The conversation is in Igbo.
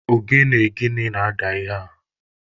Ogene gịnị na-ada ihe a?